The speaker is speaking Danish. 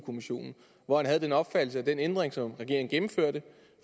kommissionen hvor han havde den opfattelse at den ændring som regeringen gennemførte